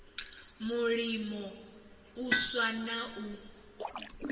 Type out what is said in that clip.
mulimo u swa na u